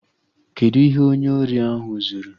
Kedụ ihe onye ori ahụ zuru?